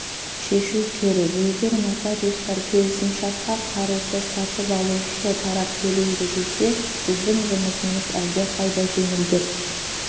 шешу керек егер нотариустар келісімшартқа қарызды сатып алушы тарап төлейді десе біздің жұмысымыз әлдеқайда жеңілдер